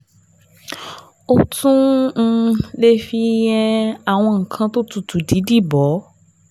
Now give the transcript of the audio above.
O tún um lè fi um àwọn nǹkan tó tutù dídì bò ó um